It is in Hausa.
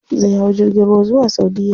Zai hau jirgin ruwa zuwa saudiya.